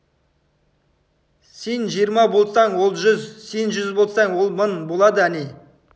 сен жиырма болсаң ол жүз сен жүз болсаң ол мың болады әне